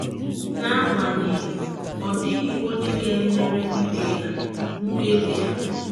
N'agbanyeghị, ọ dịghị onye ga - emere ibe ya mkpebi a.